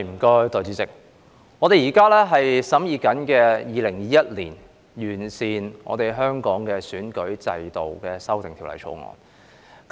代理主席，我們現正審議的，是《2021年完善選舉制度條例草案》。